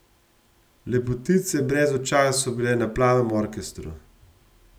Lepotice brez očal so bile na Plavem orkestru.